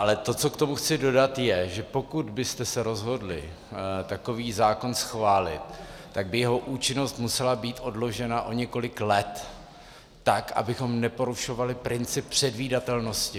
Ale to, co k tomu chci dodat, je, že pokud byste se rozhodli takový zákon schválit, tak by jeho účinnost musela být odložena o několik let, tak abychom neporušovali princip předvídatelnosti.